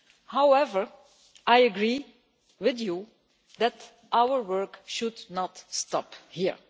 However, I agree with you that our work should not stop here.